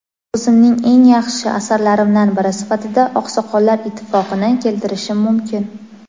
o‘zimning eng yaxshi asarlarimdan biri sifatida "Oqsoqollar ittifoqi"ni keltirishim mumkin.".